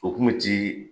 O kun bɛ ci